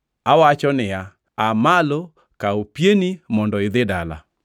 “Awacho niya, aa malo kaw pieni mondo idhi dala.”